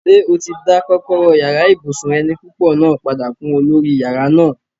Ṣé o ti dá kọ́kọ́rọ́ yàrá ibùsùn eni púpọ̀ náà padà fún olórí yàrá náà?